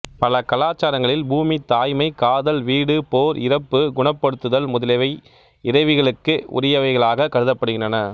பல கலாச்சாரங்களில் பூமி தாய்மை காதல் வீடு போர் இறப்பு குணப்படுத்துதல் முதலியவை இறைவிகளுக்கே உறியவைகளாகக் கருதப்படுகின்றன